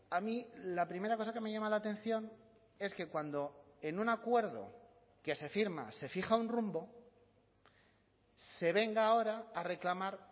a mí la primera cosa que me llama la atención es que cuando en un acuerdo que se firma se fija un rumbo se venga ahora a reclamar